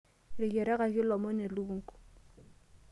Eteyiarakaki olomoni elukunku.